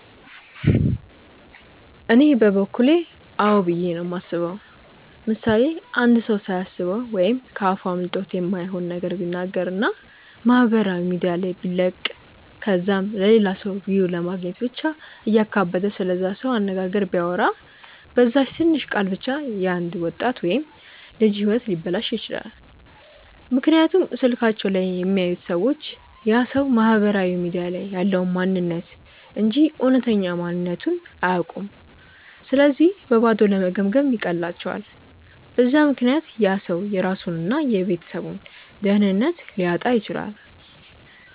እኔ በበኩሌ አዎ ብዬ ነው የማስበው። ምሳሌ፦ አንድ ሰው ሳያስበው ወይም ከ አፉ አምልጦት የማይሆን ነገር ቢናገር እና ማህበራዊ ሚዲያ ላይ ቢለቅ ከዛም ለላ ሰው ቪው ለማግኘት ብቻ እያካበደ ስለዛ ሰው አነጋገር ቢያወራ፤ በዛች ትንሽ ቃል ብቻ የ አንድ ወጣት ወይም ልጅ ህይወት ሊበላሽ ይችላል፤ ምክንያቱም ስልካቸው ላይ የሚያዩት ሰዎች ያ ሰው ማህበራዊ ሚዲያ ላይ ያለውን ማንንነት እንጂ እውነተኛ ማንነትቱን አያውኩም ስለዚህ በባዶ ለመገምገም ይቀላቸዋል፤ በዛ ምክንያት ያ ሰው የራሱን እና የቤተሰቡን ደህንነት ሊያጣ ይችላል።